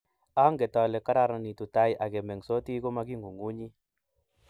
Anget ale kararanitu tai akemengsoti kumakingunynguny